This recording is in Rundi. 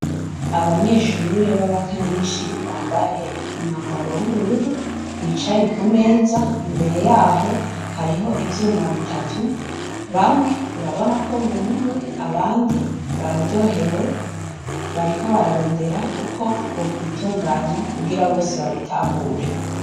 Abanyeshure babakanishi bambaye umwambaro wubururu bicaye kumeza imbere yaho hariho ivyuma bitatu bamwe urabonako bumiwe, abandi bararyohewe bariko bararondera uko bitunganya kugira babitahure.